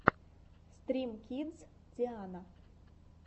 стрим кидс диана